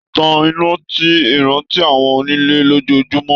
Tan iná ní ìrántí àwọn ònilẹ̀ lójoojúmọ́